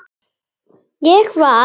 Ég var.